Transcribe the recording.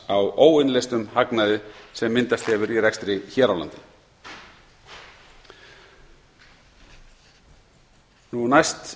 á óinnleystum hagnaði sem myndast hefur í rekstri hér á landi næst